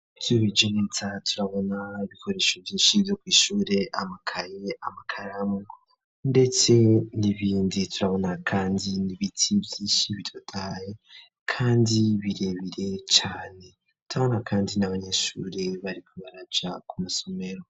Ivyubijenetsa turabona bikoresho vyinshi vyo kw'ishure amakaye amakaramu, ndetse nibindi turabona, kandi nibiti vyinshi bidotaye, kandi birebire cane tutabona, kandi n'abanyeshure bariko baraja ku masomero.